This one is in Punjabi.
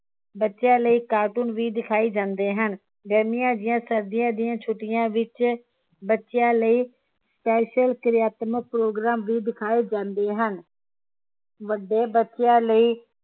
ਬੱਚਿਆਂ ਲਈ cartoon ਵੀ ਦਿਖਾਏ ਜਾਂਦੇ ਹਨ ਗਰਮੀਆਂ ਜਾ ਸਰਦੀਆਂ ਦੀਆ ਛੁੱਟੀਆਂ ਵਿਚ ਬੱਚਿਆਂ ਲਈ special ਕ੍ਰਿਆਤ੍ਮਕ program ਵੀ ਦਿਖਾਏ ਜਾਂਦੇ ਹਨ ਵੱਡੇ ਬੱਚਿਆਂ ਲਈ